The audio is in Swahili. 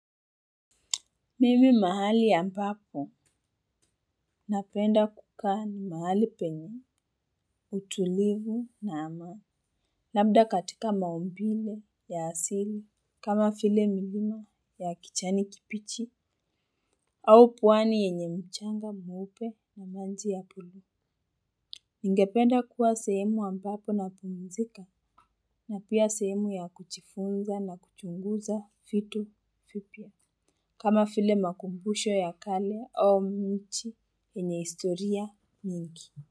Mimi mahali ambapo napenda kukaa ni mahali penye, utulivu na ama. Labda katika maumbile ya asili kama file milimo ya kichani kipichi au pwani yenye mchanga mweupe na manji ya puli. Ningependa kuwa sehemu ambapo napumzika na pia sehemu ya kuchifunza na kuchunguza fitu fipya. Kama file makumbusho ya kale au nchi yenye istoria mingi.